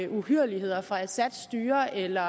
uhyrligheder fra assads styre eller